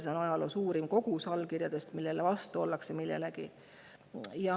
See on ajaloo suurim kogus allkirju millegi vastu.